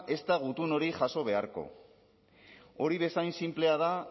ezta gutun hori jaso beharko hori bezain sinplea da